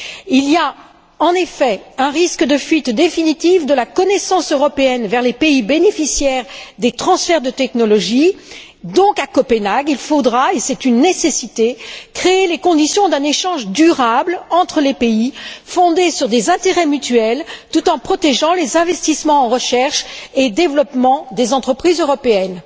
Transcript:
Il y a, en effet, un risque de fuite définitive de la connaissance européenne vers les pays bénéficiaires des transferts de technologies. Donc, à Copenhague, il faudra et c'est une nécessité créer les conditions d'un échange durable entre les pays, fondé sur des intérêts mutuels, tout en protégeant les investissements en recherche et développement des entreprises européennes.